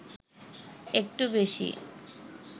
একটু বেশি